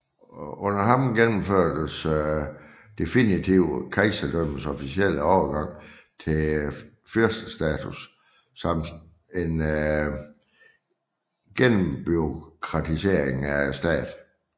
Under ham gennemførtes definitivt kejserdømmets officielle overgang til fyrstestatus samt en gennembureaukratisering af staten